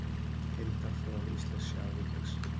Heildarþróun íslensks sjávarútvegs